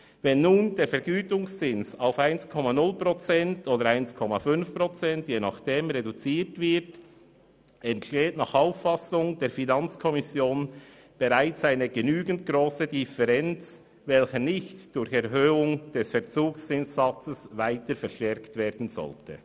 Wenn nun der Vergütungszins auf 1,0 Prozent oder 1,5 Prozent reduziert wird, entsteht nach Auffassung der FiKo bereits eine genügend grosse Differenz, welche nicht durch Erhöhung des Verzugszinssatzes verstärkt werden sollte.